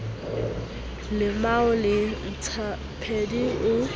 o lemao le ntlhapedi o